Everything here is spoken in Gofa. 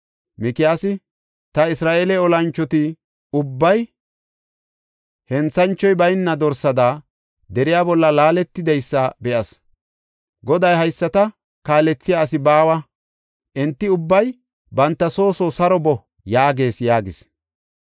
Mikiyaasi, “Ta Isra7eele olanchoti ubbay henthanchoy bayna dorsada deriya bolla laaletidaysa be7as. Goday, ‘Hayisata kaalethiya asi baawa; enti ubbay banta soo soo saro boo’ yaagees” yaagis.